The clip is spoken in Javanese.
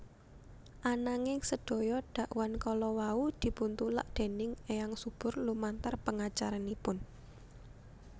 Ananging sedaya dakwan kalawau dipuntulak déning Eyang Subur lumantar pengacaranipun